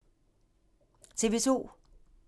TV 2